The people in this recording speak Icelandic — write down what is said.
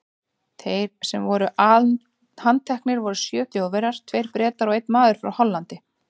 Þeir sem voru handteknir voru sjö Þjóðverjar, tveir Bretar og einn maður frá Hollandi.